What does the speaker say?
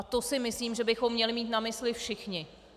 A to si myslím, že bychom měli mít na mysli všichni.